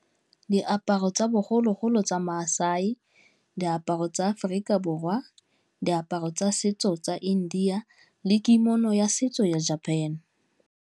Diaparo tsa bogologolo tsa MaSai, diaparo tsa Aforika Borwa, diaparo tsa setso tsa India le ya setso ya Japan.